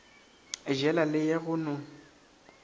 jela le ya go no